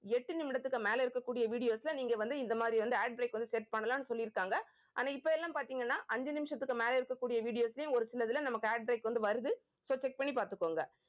எட்டு நிமிடத்துக்கு மேலே இருக்கக்கூடிய videos ல நீங்க வந்து இந்த மாறி வந்து ad break வந்து set பண்ணலாம்னு சொல்லியிருக்காங்க இப்ப எல்லாம் பாத்தீங்கன்னா அஞ்சு நிமிஷத்துக்கு மேல இருக்கக்கூடிய videos லயும் ஒரு சிலதுல நம்ம ad break வந்து வருது so check பண்ணி பாத்துக்கோங்க